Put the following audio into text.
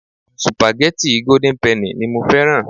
Supageti golden penny ni mo fẹ́ràn.